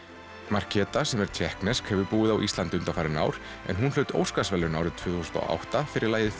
markéta sem er tékknesk hefur búið á Íslandi undanfarin ár en hlaut Óskarsverðlaun árið tvö þúsund og átta fyrir lagið